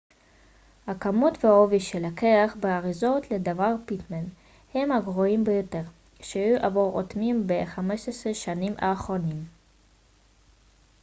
הכמות והעובי של הקרח באריזות לדברי פיטמן הם הגרועים ביותר שהיו עבור אוטמים ב-15 השנים האחרונות